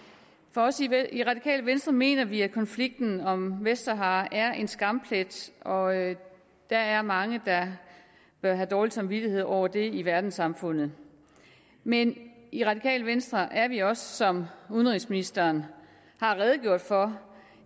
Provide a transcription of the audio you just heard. også i radikale venstre mener vi at konflikten om vestsahara er en skamplet og at der er mange der bør have dårlig samvittighed over det i verdenssamfundet men i radikale venstre er vi også som udenrigsministeren har redegjort for